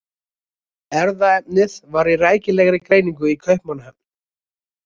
Erfðaefnið var í rækilegri greiningu í Kaupmannahöfn.